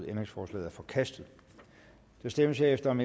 ændringsforslaget er forkastet der stemmes herefter om